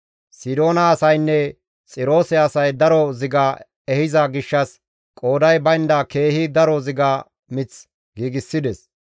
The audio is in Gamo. Sidoona asaynne Xiroose asay daro ziga mith ehiza gishshas qooday baynda keehi daro ziga mith giigsides.